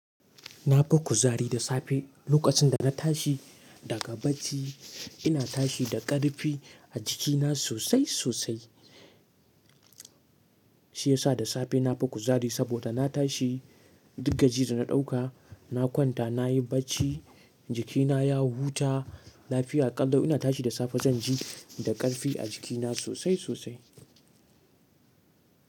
Na fi kuzari da safe. Lokacin da na tashi daga bacci, ina tashi da ƙarfi a jikina sosai sosai. Shi ya sa da safe na fi kuzari saboda na tashi, duk gajiyar da na ɗauka, na kwanta, na yi bacci, jikina ya huta, lafiya ƙalau, ina tashi da safe zan ji da ƙarfi a jikina sosai sosai.